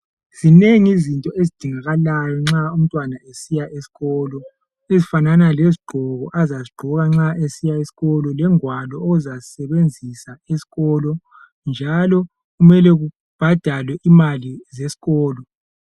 Zineng' zinto ezidingakalayo nxa umntwana esiya eskolo, ezifanana lezgqoko azazigqoka nxa esiya eskolo, lengwalo ozazisebenzisa eskolo, njalo kumele kubhadalwe imali zeskolo.